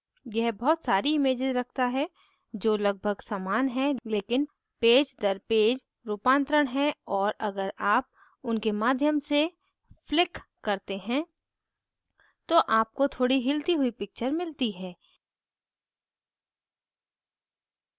यह बहुत सारी images रखती है जो लगभग समान हैं लेकिन पेज दर पेज रूपांतरण हैं और अगर आप उनके माध्यम से flick करते हैं तो आपको थोड़ी हिलती हुई picture मिलती है